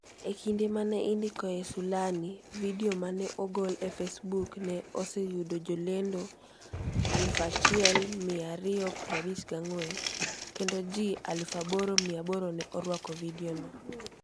E kinde ma ne indikoe sulani, vidio ma ne ogol e Facebook, ne oseyudo jolendo 1,254 kendo ji 8,800 ne orwako vidiono.